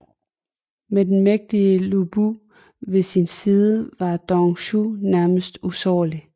Med den mægtige Lü Bu ved sin side var Dong Zhuo nærmest usårlig